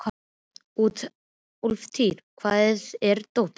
Úlftýr, hvar er dótið mitt?